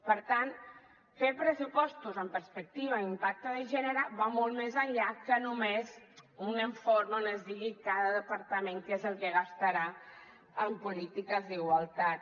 per tant fer pressupostos amb perspectiva d’impacte de gènere va molt més enllà que només un informe on es digui cada departament què és el que gastarà en polítiques d’igualtat